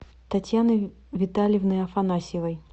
татьяны витальевны афанасьевой